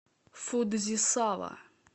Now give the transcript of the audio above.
фудзисава